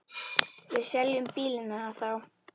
Við seljum bílinn hennar þá.